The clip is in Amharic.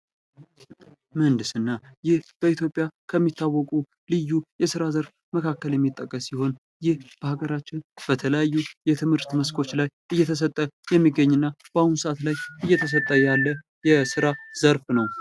ምህንድስና:- ይህ በኢትዮጵያ ከሚታወቁ ልዩ የስራ ዘርፍ መካከል የሚጠቀስ ሲሆን ይህ በአገራችን በተለያዩ የትምህርት መስኮች ላይ እየተሰጠ የሚገኝ እና በአሁኑ ሰዓትም እየተሰጠ ያለ ዘርፍ ነዉ።